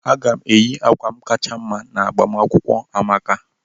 Aga m eyi akwa m kacha mma n'agbamakwụkwọ Amaka.